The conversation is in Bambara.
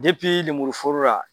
lemuru foro la